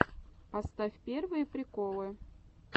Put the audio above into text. поставь первые приколы